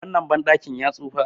wannan bandakin ya tsufa